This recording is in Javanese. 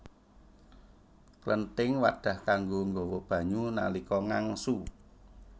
Klenthing wadhah kanggo nggawa banyu nalika ngangsu